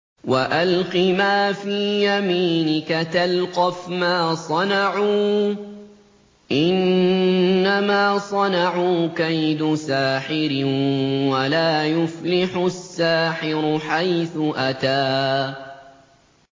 وَأَلْقِ مَا فِي يَمِينِكَ تَلْقَفْ مَا صَنَعُوا ۖ إِنَّمَا صَنَعُوا كَيْدُ سَاحِرٍ ۖ وَلَا يُفْلِحُ السَّاحِرُ حَيْثُ أَتَىٰ